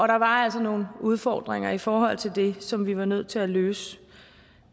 der var altså nogle udfordringer i forhold til det som vi var nødt til at løse